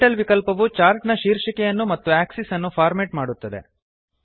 title ವಿಕಲ್ಪವು chart ನ ಶೀರ್ಷಿಕೆಯನ್ನು ಮತ್ತು ಆಕ್ಸಿಸ್ ಅನ್ನು ಫಾರ್ಮೇಟ್ ಮಾಡುತ್ತದೆ